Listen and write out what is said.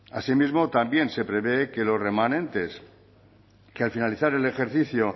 así mismo también se prevé que los remanentes que al finalizar el ejercicio